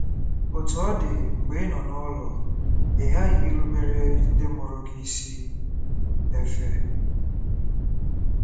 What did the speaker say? Otú ọ dị, mgbe ị nọ n'ụlọ, ị ghaghị irubere ndị mụrụ gị isi. — Efe.